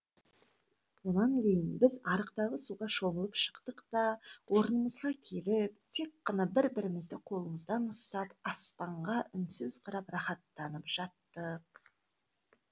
онан кейін біз арықтағы суға шомылып шықтық та орнымызға келіп тек қана бір бірімізді қолымыздан ұстап аспанға үнсіз қарап рақаттанып жаттық